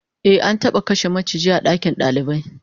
Ehh, an taba kashe maciji a dakin dalibai